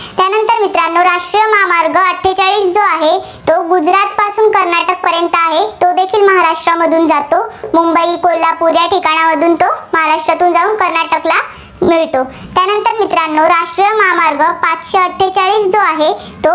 पर्यंत आहे. तोदेखील महाराष्ट्रामधून जातो. मुंबई, कोल्हापूर या ठिकाणावरून तो महाराष्ट्रातून जाऊन कर्नाटकला मिळतो. त्यानंतर मित्रांनो राष्ट्रीय महामार्ग पाचशे अठ्ठेचाळीस जो आहे,